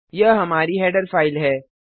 यह हमारी header file है